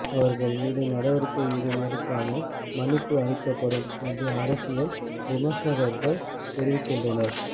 அவர்கள் மீது நடவடிக்கை ஏதும் எடுக்காமல் மன்னிப்பு அளிக்கப்படும் என்று அரசியல் விமர்சகர்கள் தெரிவிக்கின்றனர்